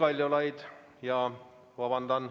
Vabandust!